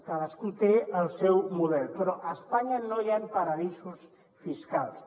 cadascú té el seu model però a espanya no hi han paradisos fiscals